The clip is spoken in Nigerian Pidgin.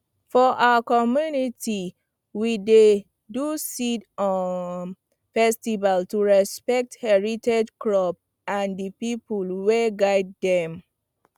for our community we dey do seed um festival to respect heritage crop and the people wey guide dem